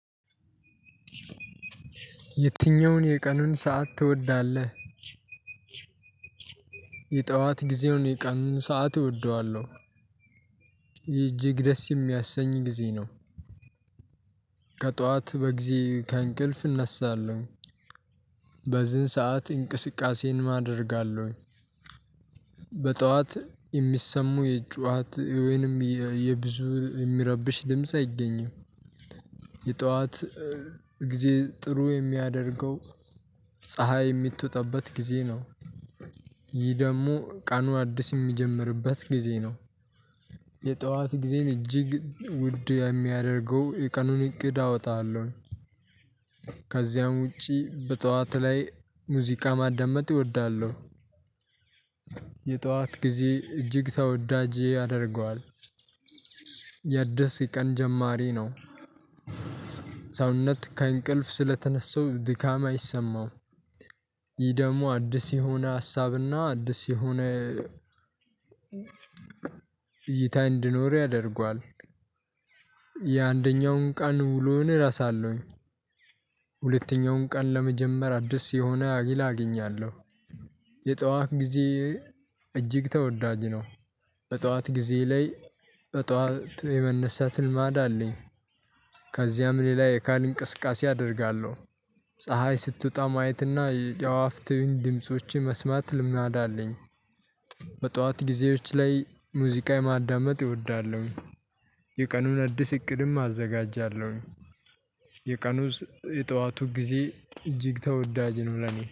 የትኛውን የቀኑን ሰዓት ትወዳለህ? የጠዋት ጊዜውን የቀኑን ሰዓት እወደዋለሁ። እጅግ ደስ የሚያሰኝ ጊዜ ነው። ከጥዋት በጊዜ ከእንቅልፍ እነሳለሁኝ። በዚህን ሰዓት እንቅስቃሴን አደርጋለሁኝ። በጠዋት የሚሰሙ የጩዋት ወይንም የብዙ የሚረብሽ ድምጽ አይገኝም። የጥዋታ ጊዜ ጥሩ የሚያደርገው ፀሀይ የምትወጣበት ጊዜ ነው። ይህ ደግሞ ቀኑ አዲስ የሚጀምርበት ጊዜ ነው። የጠዋት ጊዜን እጅግ ውድ የሚያደርገው የቀኑን እቅድ አወጣለሁኝ። ከዚያም ውጭ በጥዋት ላይ ሙዚቃ ማዳመጥ እወዳለሁ። የጠዋት ጊዜ እጅግ ተወዳጄ ያደርገዋል። የአድስ ቀን ጀማሪ ነው። ሰውነት ከእንቅልፍ ስለተነሳው ድካም አይሰማውም። ይህ ደግሞ አዲስ የሆነ ሀሳብና አዲስ የሆነ እይታ እንድኖር ያደርገዋል። የአንደኛውን ቀን ውሎን እረሳለሁኝ። ሁለተኛውን ቀን ለመጀመር አዲስ የሆነ ሀይል አገኛለሁ። የጠዋት ጊዜ እጅግ ተወዳጅ ነው። በጠዋት ጊዜ ላይ በጠዋት የመነሳት ልማድ አለኝ። ከዚያም ሌላ የአካል እንቅስቃሴ አደርጋለሁ። ፀሀይ ስትወጣ ማየትና የዋፍትህን ድምፆችን መስማት ልማድ አለኝ። በጠዋት ጊዜዎች ላይ ሙዚቃ የማዳመጥ እወዳለሁኝ። የቀኑን አዲስ እቅድም አዘጋጃለሁኝ። የቀኑን የጠዋቱ ጊዜ እጅግ ተወዳጅ ነው ለኔ።